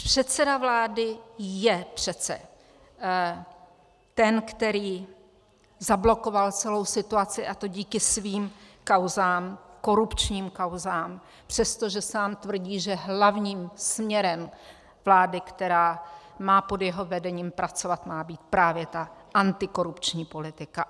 Předseda vlády je přece ten, který zablokoval celou situaci, a to díky svým kauzám, korupčním kauzám, přestože sám tvrdí, že hlavním směrem vlády, která má pod jeho vedením pracovat, má být právě ta antikorupční politika.